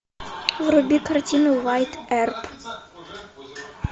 вруби картину уайатт эрп